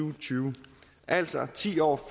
og tyve altså ti år